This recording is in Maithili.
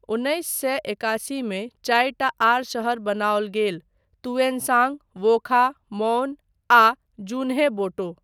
उन्नैस सए एकासी मे चारिटा आर शहर बनाओल गेल, तुएनसांग, वोखा, मौन आ ज़ुन्हेबोटो।